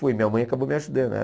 Foi minha mãe acabou me ajudando.